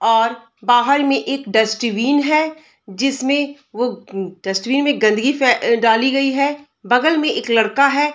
और बाहर मे एक डस्टबीन है जिसमे वो डस्टबिन मे गन्दगी फै डाली गयी है | बगल मे एक लड़का है |